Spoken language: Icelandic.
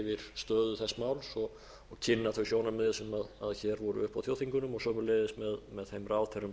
máls og kynna þau sjónarmið sem hér voru uppi á þjóðþingunum og sömuleiðis með þeim ráðherrum